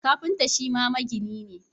Kafinta Shima magini ne